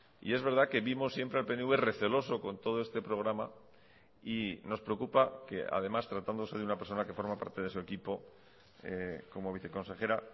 y es verdad que vimos siempre al pnv receloso con todo este programa y nos preocupa que además tratándose de una persona que forma parte de su equipo como viceconsejera